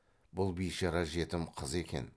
бұл бишара жетім қыз екен